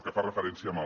que fa referència al